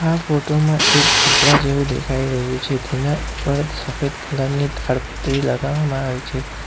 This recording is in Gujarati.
આ ફોટો માં એક ઝુંપડા જેવું દેખાઈ રહ્યું છે તેના ઉપર સફેદ કલર ની તાડપત્રી લગાવવામાં આવી છે.